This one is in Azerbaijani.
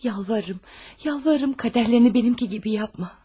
Yalvarıram, yalvarıram, qədərlərini mənimki kimi yapma.